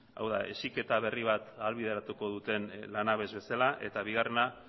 hau da heziketa berri bat ahalbideratuko duten lanabes bezala eta bigarrena